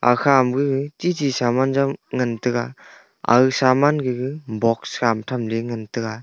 akhama gag chichi saman jam ngan taiga agag saman gaga box khama thamley ngan taiga.